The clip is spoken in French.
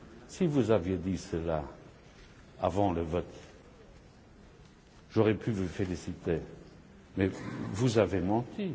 Si vous aviez dit cela avant le vote, j'aurais pu vous féliciter, mais vous avez menti.